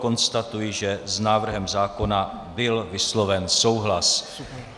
Konstatuji, že s návrhem zákona byl vysloven souhlas.